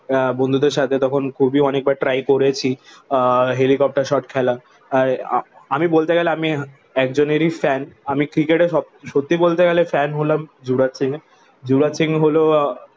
আহ বন্ধুদের সাথে তখন খুবই অনেকবার ট্রাই করেছি আহ হেলিকাপ্টার শর্ট খেলা। আহ আমি বলতে গেলে আমি একজনেরই ফ্যান আমি ক্রিকেটে সত্যি বলতে গেলে ফ্যান হলাম যুবরাজ সিংয়ের। যুবরাজ সিং হলো